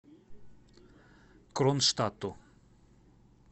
кронштадту